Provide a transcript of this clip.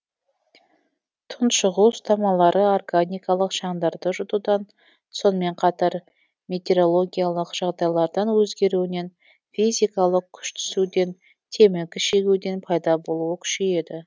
тұншығу ұстамалары органикалық шаңдарды жұтудан сонымен қатар метереологиялық жағдайлардың өзгеруінен физикалық күш түсуден темекі шегуден пайда болуы күшейеді